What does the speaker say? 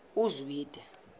uzwide